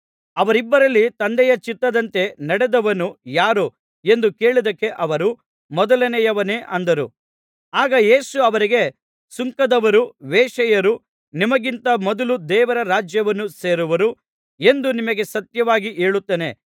ಅವರಿಬ್ಬರಲ್ಲಿ ತಂದೆಯ ಚಿತ್ತದಂತೆ ನಡೆದವನು ಯಾರು ಎಂದು ಕೇಳಿದ್ದಕ್ಕೆ ಅವರು ಮೊಲನೆಯವನೇ ಅಂದರು ಆಗ ಯೇಸು ಅವರಿಗೆ ಸುಂಕದವರೂ ವೇಶ್ಯೆಯರೂ ನಿಮಗಿಂತ ಮೊದಲು ದೇವರ ರಾಜ್ಯವನ್ನು ಸೇರುವರು ಎಂದು ನಿಮಗೆ ಸತ್ಯವಾಗಿ ಹೇಳುತ್ತೇನೆ